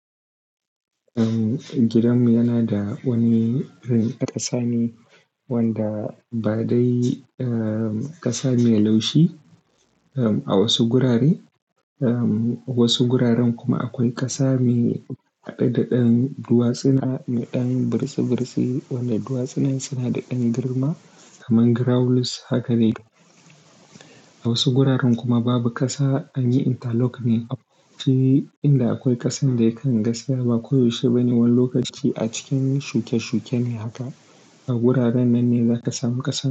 Em, gidanmu yana da wani irin ƙasa ne wanda ba dai, em ƙasa mai laushi em, a wasu gurare, em wasu guraren kuma akwai ƙasa mai haɗe da ɗan duwatsuna mai ɗan burtsi burtsi wanda duwatsunan suna da ɗan girma kaman gravels haka ne. A wasu guraren kuma babu ƙasa, anyi interlock ne. A wuce inda akwai ƙasan da yakan gaskiya ba ko yaushe bane. Wani lokaci a cikin shuke shuke ne haka. A guraren nan ne za ka samu ƙasa.